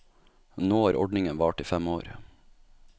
Nå har ordningen vart i fem år.